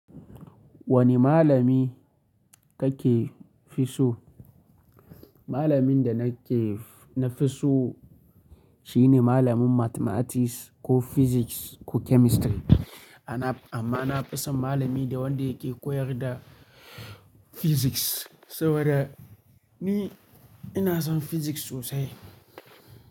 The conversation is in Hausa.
Wani malami kake fi so? Malamin da nake na fi so shine malamin Mathematics ko Physics ko Chemistry. Amma na fi son malami da wanda yake koyar da Physics saboda ni ina son Physics sosai.